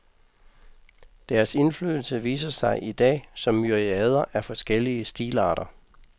Deres indflydelse viser sig i dag som myriader af forskellige stilarter.